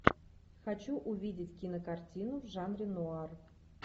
хочу увидеть кинокартину в жанре нуар